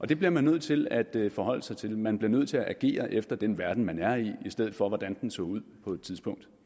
det bliver man nødt til at forholde sig til man bliver nødt til at agere efter den verden man er i i stedet for efter hvordan den så ud på et tidspunkt